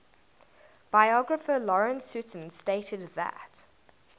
biographer lawrence sutin stated that